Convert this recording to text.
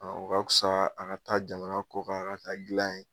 o ka tusa a ka taa jamana kɔ kan a ka taa dilan ye